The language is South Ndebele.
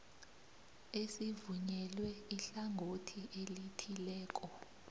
esivunyelwe ihlangothi elithileko